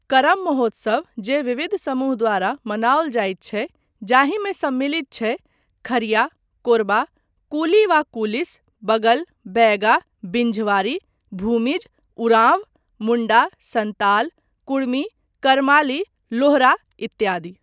करम महोत्सव जे विविध समूह द्वारा मनाओल जाइत छै, जाहिमे सम्मिलित छै, खरिया, कोरबा, कुली वा कुलीस, बगल, बैगा, बिन्झवारी, भूमिज, उराँव, मुण्डा, सन्ताल, कुड़मी, करमाली, लोहरा इत्यादि।